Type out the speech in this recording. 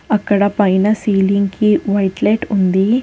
అక్కడ పైన సీలింగ్ కి వైట్ లైట్ ఉంది.